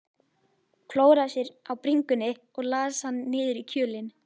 Klóraði sér á bringunni og las hann niður í kjölinn.